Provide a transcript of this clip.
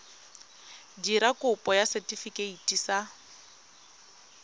dira kopo ya setefikeiti sa